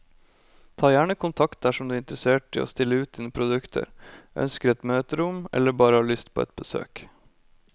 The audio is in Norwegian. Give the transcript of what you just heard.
Ta gjerne kontakt dersom du er interessert i å stille ut dine produkter, ønsker et møterom eller bare har lyst på et besøk.